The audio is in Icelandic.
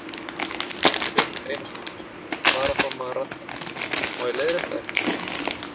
Björk Einisdóttir, varaformaður Radda: Má ég leiðrétta þig?